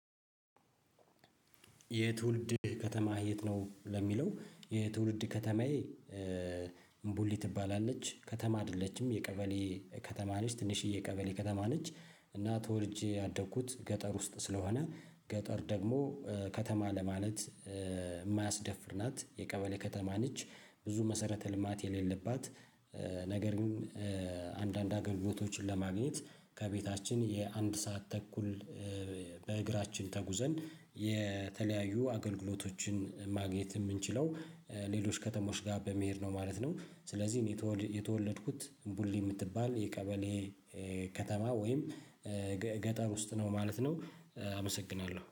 የትውልድ ከተማ የት ነው? ለሚለው የትውልድ ከተማዬ እምቡሊ ትባላለች ከተማ አይደለችም የቀበሌ ከተማ ነች ትንሽዬ የቀበሌ ከተማ ነች እና ተወልጄ ያደኩት ገጠር ውስጥ ስለሆነ ገጠር ደግሞ ከተማ ለማለት የማያስደፍር ናት የቀበሌ ከተማ ነች ብዙ መሰረተ ልማት የሌለባት ነገር ግን አንዳንድ አገልግሎቶችን ለማግኘት ከቤታችን የአንድ ሰዓት ተኩል በእግራችን ተጉዘን የተለያዩ አገልግሎቶችን ማግኘት የምንችለው ሌሎች ከተሞች ጋር በመሄድ ነው ማለት ነው። ስለዚህ እኔ የተወለድኩት ቡሊ የምትባል የቀበሌ ከተማ ወይም ገጠር ውስጥ ነው ማለት ነው። አመሰግናለሁ